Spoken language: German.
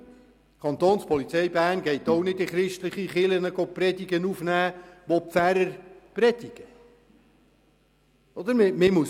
Die Kantonspolizei Bern geht auch nicht in Kirchen und nimmt dort Predigten auf, die von den Pfarrern gehalten werden.